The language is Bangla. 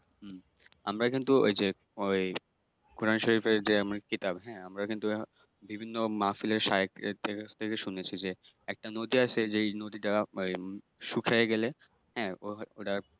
হম আমরা কিন্তু ঐ যে ঐ কোরআন শরীফের যে কিতাব হ্যাঁ আমরা কিন্তু বিভিন্ন মাহফিলে শাইখের কাছ থেকে শুনেছি যে একটা নদী আছে যেই নদী টা শুখাইয়া গেলে হ্যাঁ ঐটা